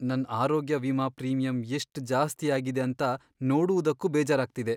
ನನ್ ಆರೋಗ್ಯ ವಿಮಾ ಪ್ರೀಮಿಯಂ ಎಷ್ಟ್ ಜಾಸ್ತಿ ಆಗಿದೆ ಅಂತ ನೋಡುವುದಕ್ಕೂ ಬೇಜಾರಾಗ್ತಿದೆ.